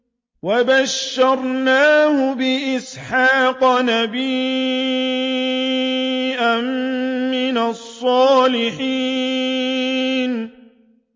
وَبَشَّرْنَاهُ بِإِسْحَاقَ نَبِيًّا مِّنَ الصَّالِحِينَ